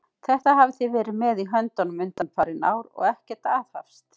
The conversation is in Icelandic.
Þetta hafið þið verið með í höndunum undanfarin ár, og ekkert aðhafst!